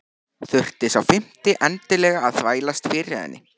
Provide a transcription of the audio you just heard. Þurfti sá fimmti endilega að þvælast fyrir henni!